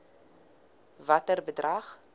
watter bedrag